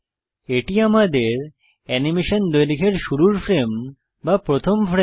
এটি আমাদের অ্যানিমেশন দৈর্ঘ্যের শুরুর ফ্রেম বা প্রথম ফ্রেম